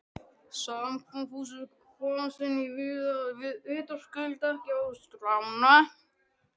Samkomuhúsið komst hann vitaskuld ekki á skrána.